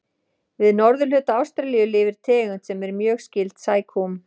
Við norðurhluta Ástralíu lifir tegund sem er mjög skyld sækúm.